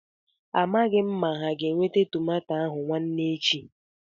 A maghị m ma ha ga-eweta tomato ahụ nwaane echi.